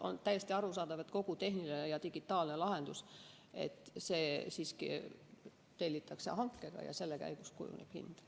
On täiesti arusaadav, et kogu tehniline ja digitaalne lahendus tellitakse hankega ja selle käigus kujuneb hind.